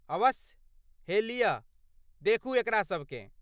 अवश्य! हे लियऽ, देखू एकरा सभकेँ।